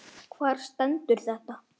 Hvar stendur þetta?